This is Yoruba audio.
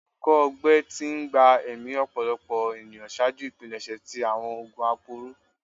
Ikọ-ọgbẹ ti gba ẹmi ọpọlọpọ eniyan ṣaaju ipilẹṣẹ ti awọn oogun aporo